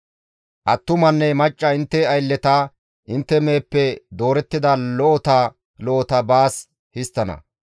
Attumanne macca intte aylleta, intte meheppe doorettida lo7ota lo7ota baas histtana.